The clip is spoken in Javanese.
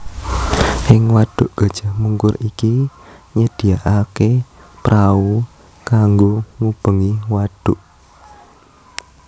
Ing wadhuk Gajah Mungkur iki nyediakaké prau kanggo ngubengi wadhuk